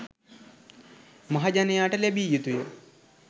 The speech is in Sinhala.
මහජනයාට ලැබිය යතුය